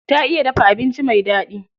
Ta iya dafa abinci mai daɗi.